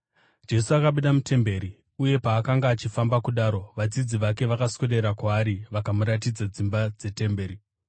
Jesu akabuda mutemberi, uye paakanga achifamba kudaro, vadzidzi vake vakaswedera kwaari vakamuratidza dzimba dzetemberi.